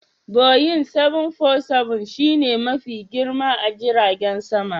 "Boeing 747" shi ne Mafi girma a jiragen sama?